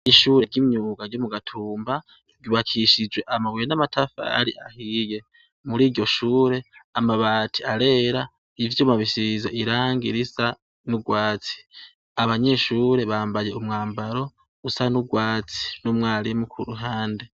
Ishure ry'imyuga ryo mu Gatumba, ryubakishijwe amabuye n'amatafari ahiye, muriryo shure amabati arera, ivyuma bisize irangi risa n'urwatsi, abanyeshure bambaye umwambaro usa n'urwatsi, n'umwarimu k'uruhande.